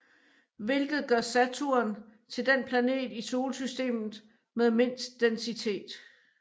Hvilket gør Saturn til den planet i Solsystemet med mindst densitet